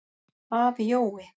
Afi Jói.